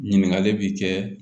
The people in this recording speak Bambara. Ɲininkali bi kɛ